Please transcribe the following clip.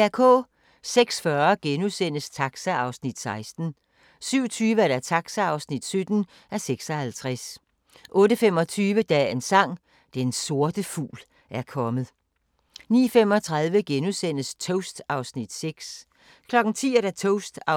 06:40: Taxa (16:56)* 07:20: Taxa (17:56) 08:25: Dagens Sang: Den sorte fugl er kommet 09:35: Toast (6:8)* 10:00: Toast (7:8) 10:25: